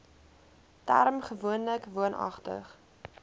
term gewoonlik woonagtig